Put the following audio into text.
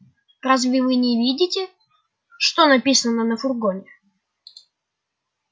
разве вы не видите что написано на фургоне